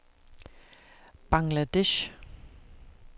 Bangladesh